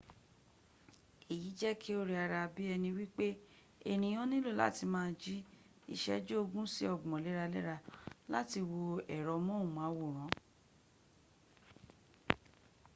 eyi je ki o re ara bi eni wipe eniyan nilo lati ma ji iseju ogun si ogbon lera-lera lati wo ero mohunmaworan